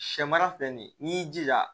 Sɛ mara filɛ nin ye n'i y'i jija